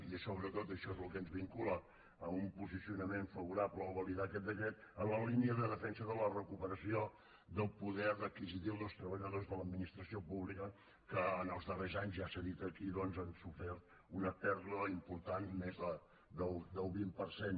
i sobretot això es el que ens vincula a un posicionament favorable o validar aquest decret en la línia de defensa de la recuperació del poder adquisitiu del treballadors de l’administració pública que en els darrers anys ja s’ha dit aquí doncs han sofert una pèrdua important més d’un vint per cent